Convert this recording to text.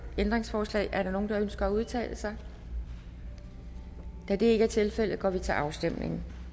ændringsforslag er der nogen der ønsker at udtale sig da det ikke er tilfældet går vi til afstemning